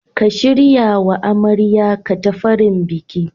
Ka shiryawa amaryar katafaren bikin.